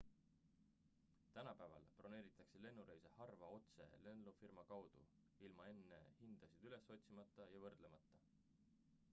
tänapäeval broneeritakse lennureise harva otse lennufirma kaudu ilma enne hindasid üles otsimata ja võrdlemata